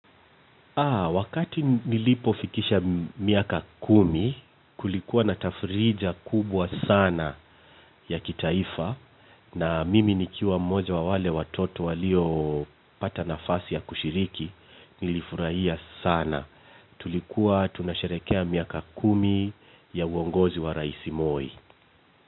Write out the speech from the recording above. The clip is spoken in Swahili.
Wakati nilipofikisha miaka kumi kulikuwa na tafrija kubwa sana ya kitaifa na mimi nikiwa mmoja wa wale watoto waliopata nafasi ya kushiriki nilifurahia sana. Tulikuwa tunasharehekea miaka kumi ya uongozi wa Raisi Moi.